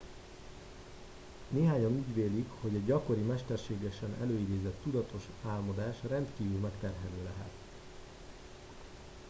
néhányan úgy vélik hogy a gyakori mesterségesen előidézett tudatos álmodás rendkívül megterhelő lehet